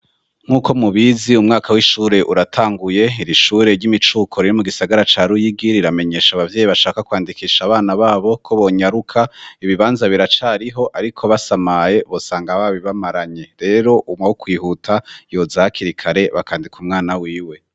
Nk'uko mubizi umwaka w'ishure uratanguye; iri shure ry'imicuko riri mu gisagara ca Ruyigiri riramenyesha abavyeyi bashaka kwandikisha abana babo ko bonyaruka, ibibanza biracariho ariko basamaye bosanga babibamaranye. Rero uwokwihuta yoza hakiri kare bakandika umwana wiwe.